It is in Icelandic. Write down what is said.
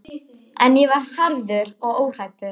En ég var harður og óhræddur.